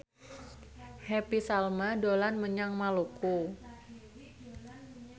Happy Salma dolan menyang Maluku